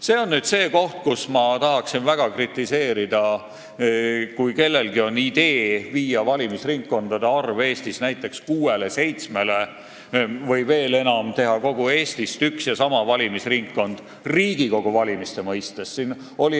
See on see koht, kus ma tahan väga kritiseerida seda, kui kellelgi on idee viia valimisringkondade arv Eestis näiteks kuuele või seitsmele, või veel enam seda, kui tahetakse teha kogu Eestist üks ja sama valimisringkond Riigikogu valimise mõistes.